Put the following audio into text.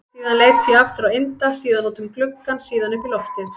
Síðan leit ég aftur á Inda, síðan út um gluggann, síðan upp í loftið.